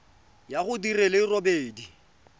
ya go di le robedi